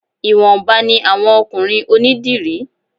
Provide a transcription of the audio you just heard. Ìwọ̀nba ni àwọn ọkùnrin onídìrí